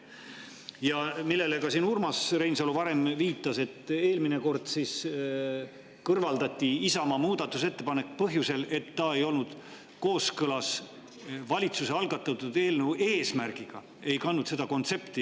See, millele ka Urmas Reinsalu siin varem viitas, oli see, et eelmine kord kõrvaldati Isamaa muudatusettepanek põhjusel, et see ei olnud kooskõlas valitsuse algatatud eelnõu eesmärgiga, ei kandnud seda kontsepti.